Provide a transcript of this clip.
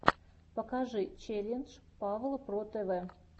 покажи челлендж павла про тв